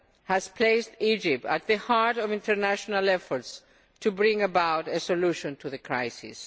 has placed Egypt at the heart of international efforts to bring about a solution to the crisis.